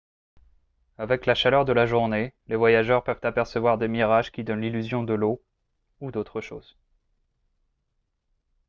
avec la chaleur de la journée les voyageurs peuvent apercevoir des mirages qui donnent l'illusion de l'eau ou d'autres choses